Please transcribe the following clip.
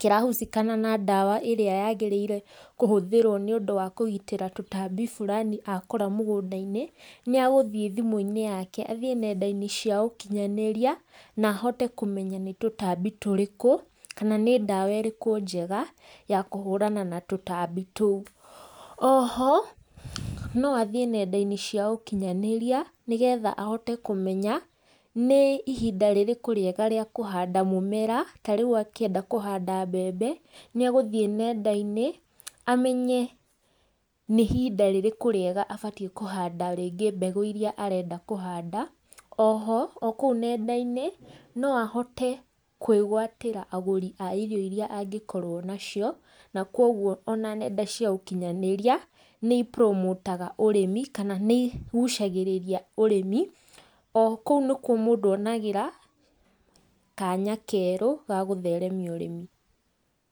kĩra husikana na ndawa ĩrĩa yagĩrĩire kũhũthĩrwo nĩundũ wa kũgitĩra tũtambi fulani akora mũgũnda-inĩ, nĩ agũthiĩ thimũ-inĩ yake, athiĩ nenda-inĩ cia ũkinyanĩria, na ahote kũmenya nĩ tũtambi tũrĩkũ, kana nĩ ndawa ĩrĩkũ njega ya kũhũrana na tũtambi tũu. Oho no athiĩ nenda-inĩ cia ũkinyanĩria, nĩgetha ahote kũmenya nĩ ihinda rĩrĩkũ rĩega rĩa kũhanda mũmera, ta rĩu akĩenda kũhanda mbembe, nĩ agũthiĩ nenda-inĩ amenye nĩ ihinda rĩrĩkũ rĩega abatie kũhanda rĩngĩ mbegũ iria arenda kũhanda, oho o kũu nenda-inĩ, no ahote kwĩgwatĩra agũri a irio iria angĩkorwo nacio, na koguo ona nenda cia ũkinyanĩria nĩ imburũmũtaga ũrĩmi kana nĩ igucagĩrĩria ũrĩmi, o kũu nĩkuo mũndũ onagĩra kanya kerũ ga gũtheremia ũrĩmi.